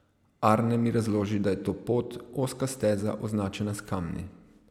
Arne mi razloži, da je to pot, ozka steza, označena s kamni.